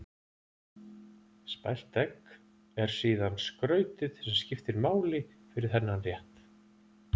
Spælt egg er síðan skrautið sem skiptir máli fyrir þennan rétt.